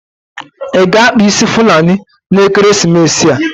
Ị ga-akpa fulani n'ekeresimesi a.